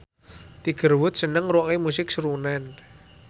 Tiger Wood seneng ngrungokne musik srunen